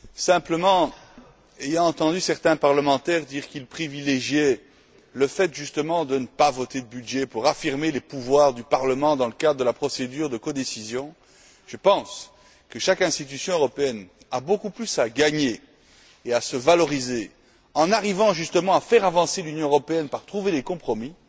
Simplement, ayant entendu certains parlementaires dire qu'ils privilégiaient le fait justement de ne pas voter de budget pour affirmer les pouvoirs du Parlement dans le cadre de la procédure de codécision, je pense que chaque institution européenne a beaucoup plus à gagner et à se valoriser en arrivant justement à faire avancer l'Union européenne en trouvant des compromis